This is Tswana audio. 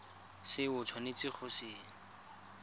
se o tshwanetseng go se